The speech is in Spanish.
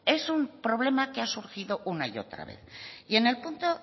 es un problema que ha surgido una y otra vez y en el punto